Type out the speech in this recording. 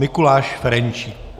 Mikuláš Ferjenčík.